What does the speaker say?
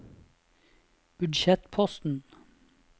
budsjettposten